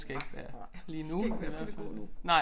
Nej nej skal ikke være pædagog nu